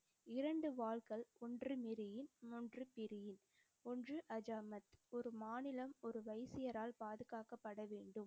இரண்டு வாள்கள், ஒன்று மிரியில், ஒன்று பிரியில், ஒன்று அஜாமத். ஒரு மாநிலம் ஒரு வைசியரால் பாதுகாக்கப்பட வேண்டும்.